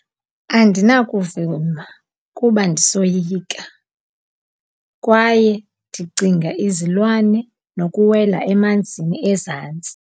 Andinakuvuma kuba ndisoyika, kwaye ndicinga izilwane nokuwela emanzini ezantsi.